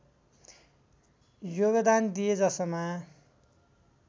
योगदान दिए जसमा